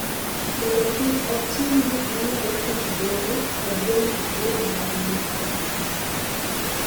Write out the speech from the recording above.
mondo kik otim gik ma nyalo ketho Doho kod Jong'ad bura mag ng’ato ka ng’ato.